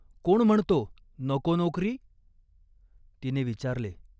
"कोण म्हणतो, नको नोकरी ?" तिने विचारले.